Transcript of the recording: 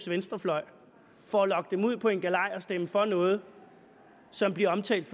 venstrefløj for at lokke dem ud på en galej og at stemme for noget som bliver omtalt